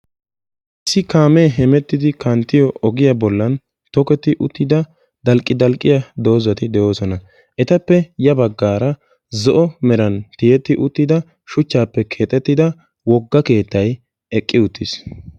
Issi kaame hemettidi kanttiyo oggiyaa bolli toketti uttida dalqqidalqqiya dozati de'ossona. Ettappe ya baggara zo'o meran tiyetti uttidda shuchchaappe keexettida wogga keettay eqqiuttis.